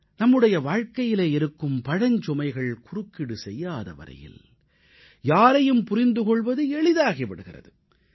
நம்முடைய வாழ்க்கையிலே இருக்கும் பழஞ்சுமைகள் குறுக்கீடு செய்யாத வரையில் யாரையும் புரிந்து கொள்வது எளிதாகி விடுகிறது